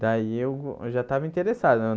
Daí eu eu já tava interessado.